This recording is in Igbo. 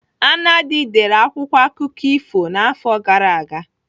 Anadi dere akwụkwọ akụkọ ifo n'afọ gara aga.